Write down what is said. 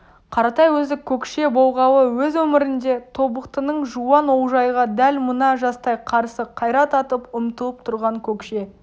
қаратай өзі көкше болғалы өз өмірінде тобықтының жуан олжайға дәл мына жастай қарсы қайрат атып ұмтылып тұрған көкше